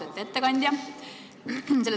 Austatud ettekandja!